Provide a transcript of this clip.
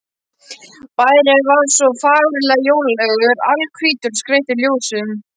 Bærinn var svo fagurlega jólalegur, alhvítur og skreyttur ljósum.